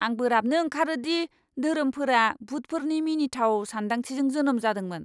आं बोराबनो ओंखारो दि धोरोमफोरा भुतफोरनि मिनिथाव सानदांथिजों जोनोम जादोंमोन।